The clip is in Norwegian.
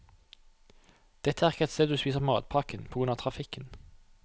Dette er ikke et sted du spiser matpakken, på grunn av trafikken.